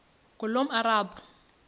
ngulomarabu